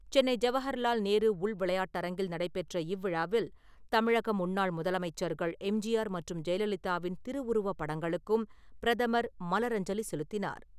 சென்னை ஜவகர்லால் நேரு உள் விளையாட்டு அரங்கில் நடைபெற்ற இவ்விழாவில், தமிழக முன்னாள் முதலமைச்சர்கள் எம்.ஜி.ஆர் மற்றும் ஜெயலலிதாவின் திருவுருவப் படங்களுக்கும் பிரதமர் மலர் அஞ்சலி செலுத்தினார்.